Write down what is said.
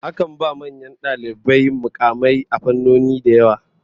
Akan ba manyan dalibai mukamai a fannoni da yawa.